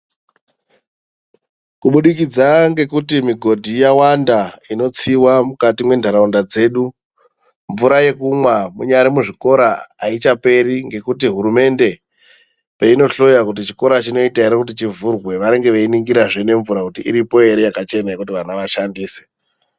Kubudikidza ngekuti migodhi yawanda inotsiwa mukati mwentaraunda dzedu, mvura yekumwa munyari muzvikora ayichaperi ngekuti hurumende, peino hloya kuti chikora chinoita ere kuti chivhurwe, vanenge vei ningirazve nemvura kuti iripo ere yaka chena kuti vana vashandise.